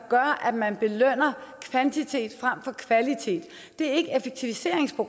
gør at man belønner kvantitet frem for kvalitet det